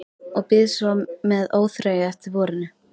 Og bíð svo með óþreyju eftir vorinu.